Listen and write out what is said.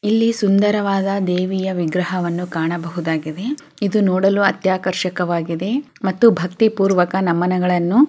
ಇಲ್ಲಿ ಸುಂದರವಾದ ದೇವಿಯ ವಿಗ್ರಹವನ್ನು ಕಾಣಬಹುದಾಗಿದೆ. ಇದು ನೋ ಡಲು ಅತ್ತ್ಯಾ ಆಕರ್ಷಕ ವಾಗಿದೆ ಮತ್ತು ಭಕ್ತಿ ಪೂರ್ವಕ ನಮನಗಳನು --